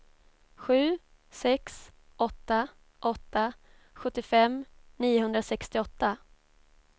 sju sex åtta åtta sjuttiofem niohundrasextioåtta